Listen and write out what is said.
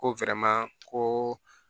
Ko ko